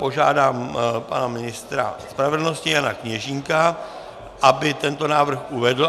Požádám pana ministra spravedlnosti Jana Kněžínka, aby tento návrh uvedl.